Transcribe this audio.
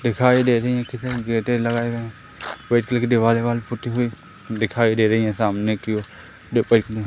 दिखाई दे रही हैं कि गेटे लगाये व्हाइट कलर की दीवाल पुती हुई दिखाई दे रही है सामने की ओर --